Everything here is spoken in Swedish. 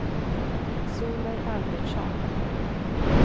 Solveig Albertsson